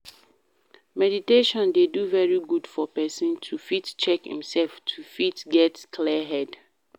Meditation dey very good for person to fit check im self to fit get clear head